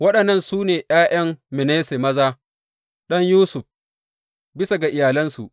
Waɗannan su ne ’ya’yan Manasse, maza, ɗan Yusuf bisa ga iyalansu.